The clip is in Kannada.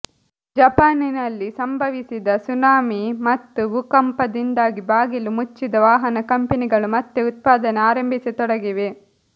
ಜಪಾನಿನಲ್ಲಿ ಸಂಭವಿಸಿದ ಸುನಾಮಿ ಮತ್ತು ಭೂಕಂಪದಿಂದಾಗಿ ಬಾಗಿಲು ಮುಚ್ಚಿದ ವಾಹನ ಕಂಪನಿಗಳು ಮತ್ತೆ ಉತ್ಪಾದನೆ ಆರಂಭಿಸತೊಡಗಿವೆ